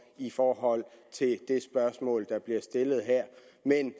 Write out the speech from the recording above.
i forhold til det spørgsmål der bliver stillet her